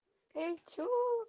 яйцо